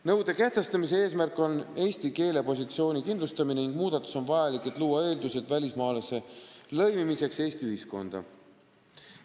Nõude kehtestamise eesmärk on eesti keele positsiooni kindlustamine ning muudatus on vajalik selleks, et luua eeldused välismaalase lõimimiseks Eesti ühiskonda.